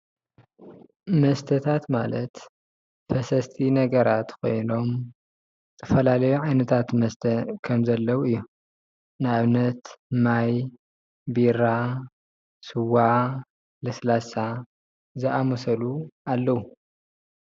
መስተታት ማለት ፈሰስቲ ነገራት ኮይኖም ዝተፈላለዩ ዓይነታት መስተ ከም ዘለዉ እዮም። ናኣብነት ማይ፣ ቢራ፣ ስዋ ፣ለስላሳ ዝኣመሰሉ ኣለዉ ።